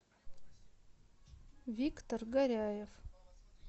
виктор горяев